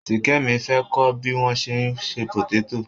Ṣìkẹ́mi fẹ́ kọ́ bí wọ́n ṣe ń se pòtétò.